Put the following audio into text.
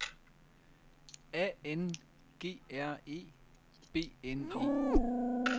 A N G R E B N E